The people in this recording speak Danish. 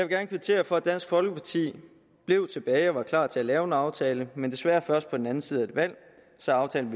gerne kvittere for at dansk folkeparti blev tilbage og var klar til at lave en aftale men desværre først på den anden side af et valg så aftalen